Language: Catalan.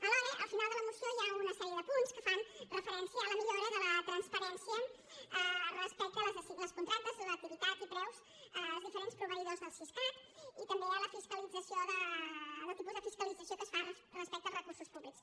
alhora al final de la moció hi ha una sèrie de punts que fan referència a la millora de la transparència respecte als contractes l’activitat i preus dels diferents proveïdors del siscat i també a la fiscalització al tipus de fiscalització que es fa respecte als recursos públics